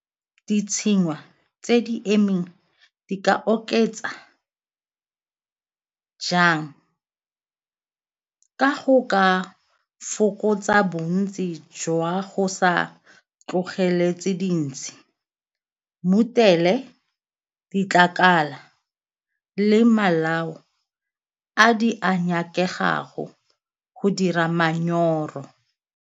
Ditshengwa tse di emeng di ka oketsa jang? Ka go ka fokotsa bontsi jwa go sa tlogeletse dintsi, ditlakala le malao a di a nyakegago go dira manyoro.